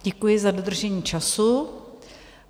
Děkuji za dodržení času.